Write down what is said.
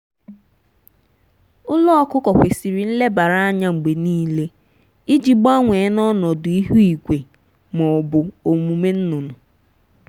ụlọ ọkụkọ kwesiri nlebara anya mgbe niile iji gbanwee na ọnọdụ ihu igwe ma ọ bụ omume nnụnụ.